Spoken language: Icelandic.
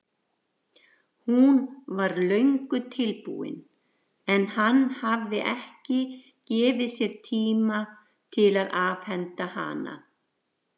Hún var löngu tilbúin en hann hafði ekki gefið sér tíma til að afhenda hana.